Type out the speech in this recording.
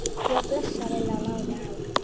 Já, bless sagði Lilla og lagði á.